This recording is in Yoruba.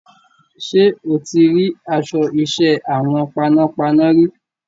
Ṣé o ti rí aṣọ iṣẹ́ àwọn panápaná rí?